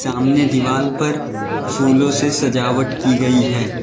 सामने दीवार पर फूलों से सजावट की गई है।